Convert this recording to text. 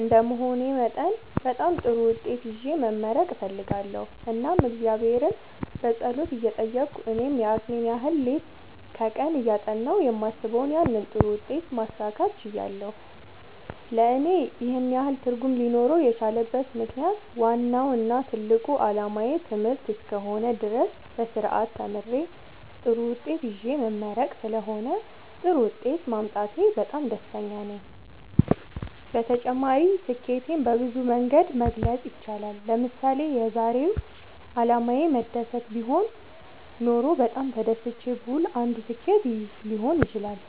እንደመሆኔ መጠን በጣም ጥሩ ውጤት ይዤ መመረቅ እፈልጋለሁ እናም እግዚአብሔርን በጸሎት እየጠየቅሁ እኔም የአቅሜን ያህል ሌት ከቀን እያጠናሁ የማስበውን ያንን ጥሩ ውጤት ማሳካት ችያለሁ ለእኔ ይህን ያህል ትርጉም ሊኖረው የቻለበት ምክንያት ዋናው እና ትልቁ አላማዬ ትምህርት እስከ ሆነ ድረስ በስርአት ተምሬ ጥሩ ውጤት ይዤ መመረቅ ስለሆነ ጥሩ ውጤት ማምጣቴ በጣም ያስደስተኛል። በተጨማሪ ስኬትን በብዙ መንገድ መግለፅ ይቻላል ለምሳሌ የዛሬው አላማዬ መደሰት ቢሆን ኖሮ በጣም ተደስቼ ብውል አንዱ ስኬት ይህ ሊሆን ይችላል